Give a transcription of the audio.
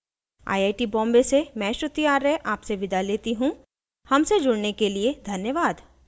I I T Bombay से मैं श्रुति आर्य आपसे विदा लेती हूँ हमसे जुड़ने के लिए धन्यवाद